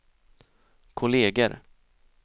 kolleger